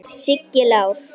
Siggi Lár.